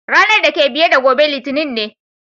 Ranan dake biye da gobe Litinin ne.